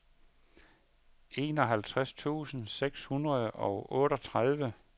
enoghalvtreds tusind seks hundrede og otteogtredive